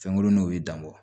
Fɛnkurunninw bɛ dan bɔ